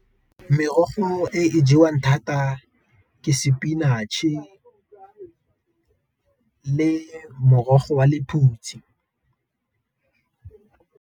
Merogo e e jewang thata ke spinach-e le morogo wa lephutsi.